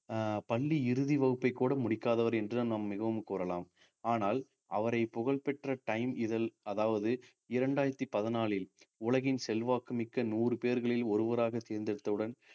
அஹ் பள்ளி இறுதி வகுப்பை கூட முடிக்காதவர் என்று நாம் மிகவும் கூறலாம் ஆனால் அவரை புகழ் பெற்ற time இதழ் அதாவது இரண்டாயிரத்தி பதினாலில் உலகின் செல்வாக்கு மிக்க நூறு பேர்களில் ஒருவராக தேர்ந்தெடுத்தவுடன்